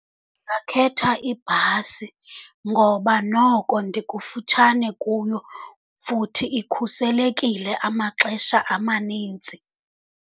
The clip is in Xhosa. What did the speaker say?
Ndingakhetha ibhasi ngoba noko ndikufutshane kuyo, futhi ikhuselekile amaxesha amaninzi.